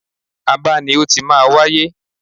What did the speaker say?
Aba ni ó ti máa wáyé.